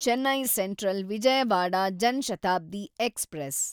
Chennai central Vijayawada Jan Shatabdi express